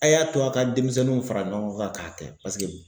A' y'a to a' ka denmisɛnninw fara ɲɔgɔn kan k'a kɛ paseke